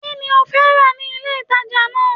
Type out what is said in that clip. Kí ni ó fẹ́ rà ní ilé ìtàjà náà?